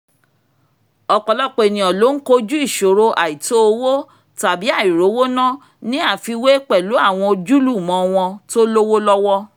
ọ̀pọ̀lọpọ̀ ènìyàn ló ń kọjú ìṣòro àìtò owo tàbí àìrówóná ní àfiwé pẹ̀lú àwọn ojúlùmọ̀ wọn tó lówó lọ́wọ́